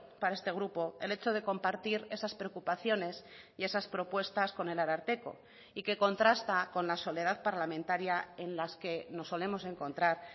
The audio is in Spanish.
para este grupo el hecho de compartir esas preocupaciones y esas propuestas con el ararteko y que contrasta con la soledad parlamentaria en las que nos solemos encontrar